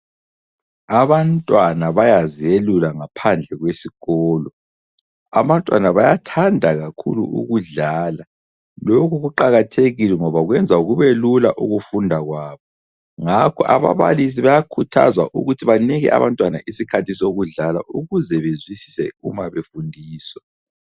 Abantwana bayazelula ngaphandle kwesikolo abantwana bayathanda kakhulu ukudlala lokhu kuqakathekile ngoba kwenza kubelula ukufunda kwabo, ngakho ababalisi bayakhuthazwa ukuthi banike abantwana isikhathi sokudlala ukuze bezwisise uma befundiswa.